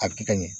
A bɛ kɛ ka ɲɛ